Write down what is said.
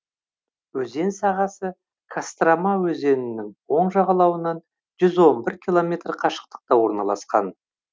өзен сағасы кострома өзенінің оң жағалауынан жүз он бір километр қашықтықта орналасқан